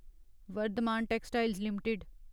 Varthaman Textiles limited